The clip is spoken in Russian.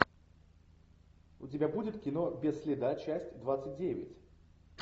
у тебя будет кино без следа часть двадцать девять